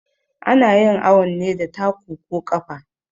Anayin awun ne da taku ko ƙafa